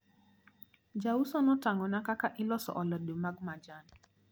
Jauso notang`ona kaka iloso alode ma majan.